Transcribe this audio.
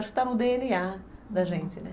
Acho que está no dê ene a da gente, né?